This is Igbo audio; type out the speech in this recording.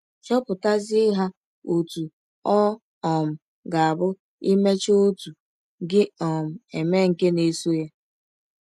Depụtazie ha ọtụ ọ um ga - abụ i mechaa ọtụ, gị um emee nke na - esọ ya.